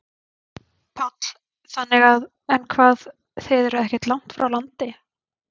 Páll: Þannig að, en hvað, þið eruð ekkert langt frá landi?